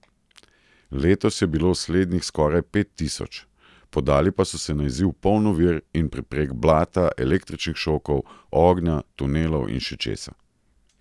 Letos je bilo slednjih skoraj pet tisoč, podali pa so se na izziv poln ovir in preprek, blata, električnih šokov, ognja, tunelov in še česa.